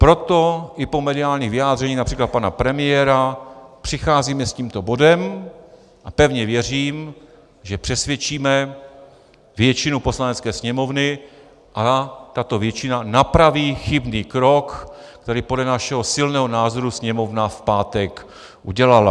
Proto i po mediálních vyjádřeních například pana premiéra přicházíme s tímto bodem a pevně věřím, že přesvědčíme většinu Poslanecké sněmovny a tato většina napraví chybný krok, který podle našeho silného názoru Sněmovna v pátek udělala.